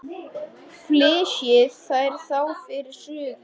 Deplaði þeim ákaft.